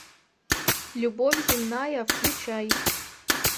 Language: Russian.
любовь земная включай